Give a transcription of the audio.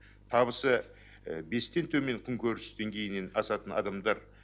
табысы бестен төмен күнкөріс деңгейінен асатын адамдар